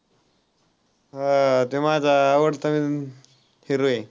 हां, तो माझा आवडता hero आहे.